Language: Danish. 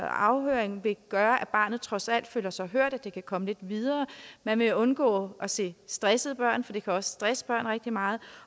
afhøring vil gøre at barnet trods alt føler sig hørt at det kan komme lidt videre og man vil undgå at se stressede børn for det kan også stresse børn rigtig meget